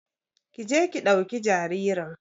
Ƙi je ki dauki jaririn.